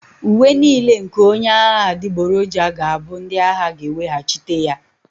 Uwe niile nke onye agha adịgboroja ga-abụ ndị agha ga-eweghachite ya